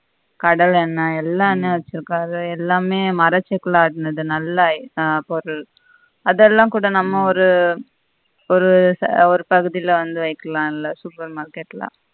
கடல எண்ண எல்லா என்னையும் வச்சிருக்காரு எல்லாமே நல்ல பொருள் அதெல்லாம் கூட நம்ம ஒரு ஒரு பகுதில வந்து வைக்லாமமெல்ல super market ல